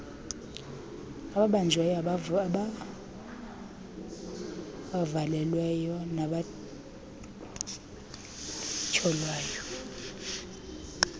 ababanjiweyo abavalelweyo nabatyholwayo